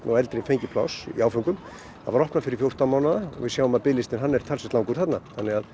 og eldri fengu pláss í áföngum það var opnað fyrir fjórtán mánaða og við sjáum að biðlistinn er talsvert langur þarna